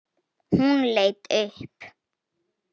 Hún leit upp.